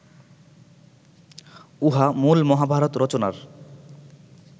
উহা মূল মহাভারত রচনার